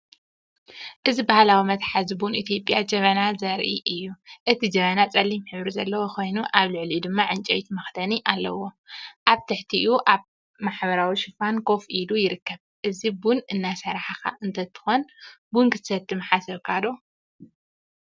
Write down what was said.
እዚ ባህላዊ መትሓዚ ቡን ኢትዮጵያ "ጀበና" ዘርኢ እዩ። እቲ ጀበና ጸሊም ሕብሪ ዘለዎ ኮይኑ፡ ኣብ ልዕሊኡ ድማ ዕንጨይቲ መኽደኒ ኣለዎ። ኣብ ትሕቲኡ ኣብ ሕብራዊ ሽፋን ኮፍ ኢሉ ይርከብ። እዚ ቡን እናሰራሕካ እንተትኮን ቡን ክትሰቲ ምሓሰብካ ዶ?